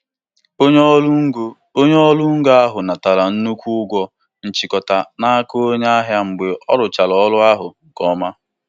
Onye ode akwụkwọ nweere onwe ya natara ụgwọ ọnwa mbụ ya nke ego dọla puku abụọ na narị ise n'ụbọchị nke iri na ise.